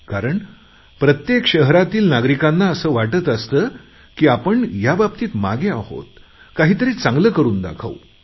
कारण प्रत्येक शहरातील नागरिकांना असे वाटत असते की आपण या बाबतीत मागे आहोत आता काहीतरी चांगले करून दाखवू